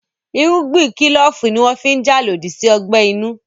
Irúgbìn kílòfù ní wọ́n fi n jà lòdì sí ọgbẹ́ inú